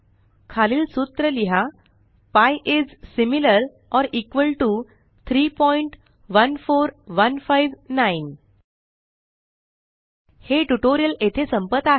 खालील सूत्र लिहा pi is similar or equal to 314159 हे ट्यूटोरियल येथे संपत आहे